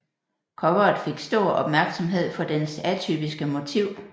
Coveret fik stor opmærksomhed for dens atypiske motiv